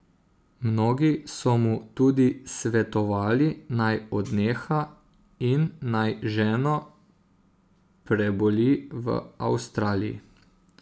Mnogi so mu tudi svetovali, naj odneha in naj ženo preboli v Avstraliji.